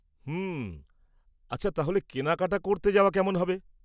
হুম, আচ্ছা, তাহলে কেনাকাটা করতে যাওয়া কেমন হবে?